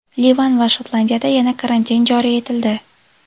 Livan va Shotlandiyada yana karantin joriy etildi.